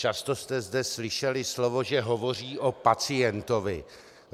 Často jste zde slyšeli slovo, že hovoří o pacientovi.